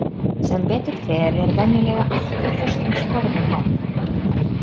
Sem betur fer er venjulega allt í föstum skorðum hérna.